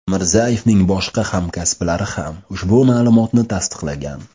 Mirzayevning boshqa hamkasblari ham ushbu ma’lumotni tasdiqlagan.